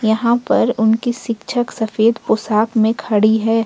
यहां पर उनकी शिक्षक सफेद पोशाक में खड़ी है।